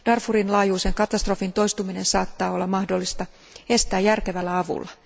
Darfurin laajuisen katastrofin toistuminen saattaa olla mahdollista estää järkevällä avulla.